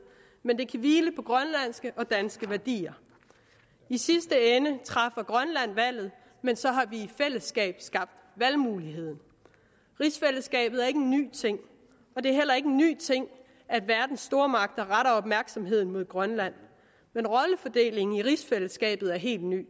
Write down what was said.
men det vil hvile på grønlandske og danske værdier i sidste ende træffer grønland valget men så har vi i fællesskab skabt valgmuligheden rigsfællesskabet er ikke en ny ting det er heller ikke en ny ting at verdens stormagter retter opmærksomheden mod grønland men rollefordelingen i rigsfællesskabet er helt ny